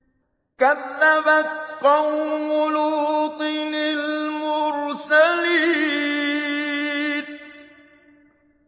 كَذَّبَتْ قَوْمُ لُوطٍ الْمُرْسَلِينَ